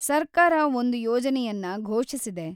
ಸರ್ಕಾರ ಒಂದು ಯೋಜನೆಯನ್ನ ಘೋಷಿಸಿದೆ.